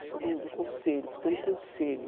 Eu sou do do conselho, porque tem um conselho.